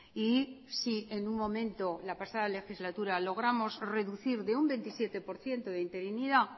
y si en un momento la pasada legislatura logramos reducir de un veintisiete por ciento de interinidad